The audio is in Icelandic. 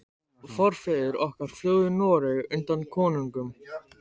Forfeður okkar flúðu Noreg undan konungum.